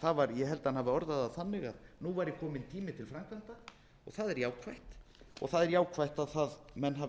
það ég held að hann hafi orðað það þannig að nú væri kominn tími til framkvæmda og það er jákvætt og það er jákvætt að menn hafi